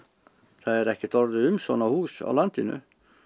það er ekkert orðið um svona hús á landinu